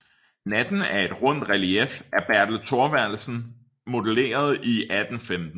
Natten er et rundt relief af Bertel Thorvaldsen modelleret i 1815